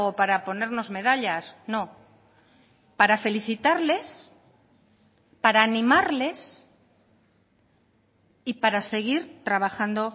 para ponernos medallas no para felicitarles para animarles y para seguir trabajando